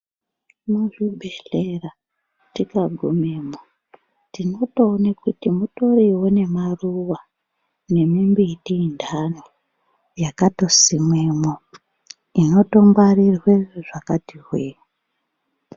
Mu zvibhehlera tika gumemwo tinoto one kuti mutorinewo ne maruva ne mimbiti yendano yakato simwemo inoto ngwarirwe zvakati hwee.